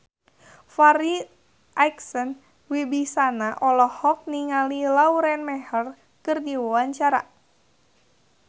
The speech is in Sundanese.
Farri Icksan Wibisana olohok ningali Lauren Maher keur diwawancara